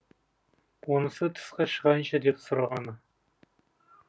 онысы тысқа шығайыншы деп сұрағаны